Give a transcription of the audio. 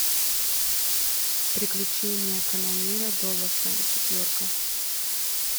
приключения канонира доласа четверка